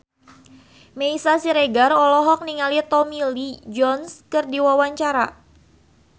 Meisya Siregar olohok ningali Tommy Lee Jones keur diwawancara